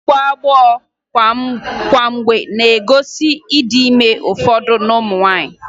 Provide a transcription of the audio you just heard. Ịgbọ agbọ kwa mgbe na-egosi ịdị ime n'ụfọdụ ụmụ nwaanyị